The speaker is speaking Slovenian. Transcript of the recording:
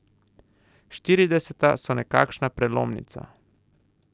Štirideseta so nekakšna prelomnica.